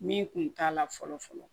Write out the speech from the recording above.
Min kun t'a la fɔlɔ fɔlɔ